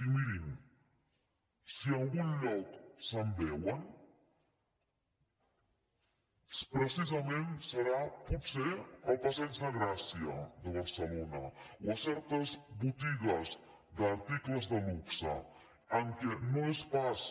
i mirin si en algun lloc se’n veuen precisament serà potser al passeig de gràcia de barcelona o a certes botigues d’articles de luxe en què no són pas